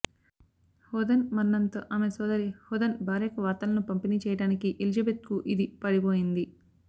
Hawthorne మరణంతో ఆమె సోదరి హాథోర్న్ భార్యకు వార్తలను పంపిణీ చేయడానికి ఎలిజబెత్కు ఇది పడిపోయింది